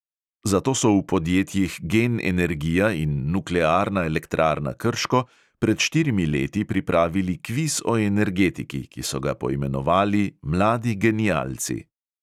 Zato so v podjetjih gen energija in nuklearna elektrarna krško pred štirimi leti pripravili kviz o energetiki, ki so ga poimenovali "mladi genialci".